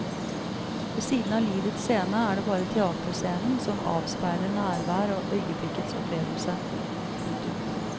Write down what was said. Ved siden av livets scene er det bare teaterscenen som avspeiler nærvær og øyeblikkets opplevelse. punktum